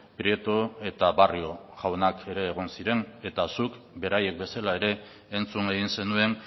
prieto eta barrio jaunak ere egon ziren eta zuk beraiek bezala ere entzun egin zenuen